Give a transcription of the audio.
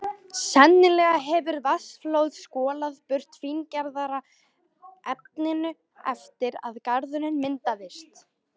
Sennilega hefur vatnsflóð skolað burt fíngerðara efninu eftir að garðurinn myndaðist.